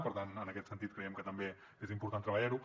per tant en aquest sentit creiem que també és important treballarho